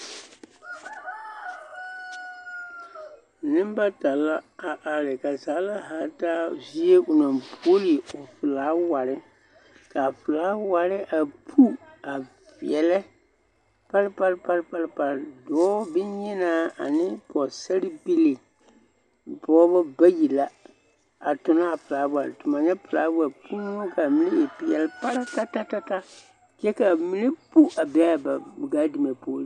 Neŋ bata la a are ka zagla haa taa zie onaŋ guoli o flaawarre kaa flaawarre a pu a veɛlɛ pare pare pare pare pare dɔɔ bonyenaa ane pɔɔsaribilii pɔɔbɔ bayi la a tonaa flaawarre tomo nyɛ flaawa puure ka mine e peɛle paratatatata kyɛ ka mine pu a be a ba gaadime poeŋ.